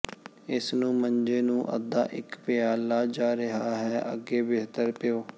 ਇਸ ਨੂੰ ਮੰਜੇ ਨੂੰ ਅੱਧਾ ਇੱਕ ਪਿਆਲਾ ਜਾ ਰਿਹਾ ਹੈ ਅੱਗੇ ਬਿਹਤਰ ਪੀਓ